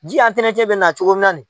Ji bɛ na cogo min na ni.